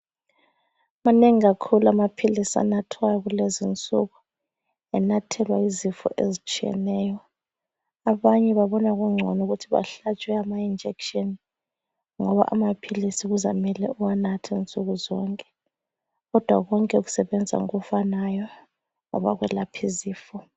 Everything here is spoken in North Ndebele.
Manengi kakhulu amaphilisi anathwayo kulezinsuku enathelwa izifo ezitshiyeneyo, abanye babona kungcono ukuthi bahlatshwe ama injekishini ngoba amaphilisi kuzamele uwanathe nsuku zonke kodwa konke kusebenza ngokufanayo ngoba kwelapha izifo.